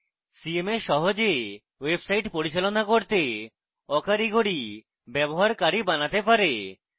cms সহজে website পরিচালনা করতে aকারিগরি ব্যবহারকারী বানাতে পারে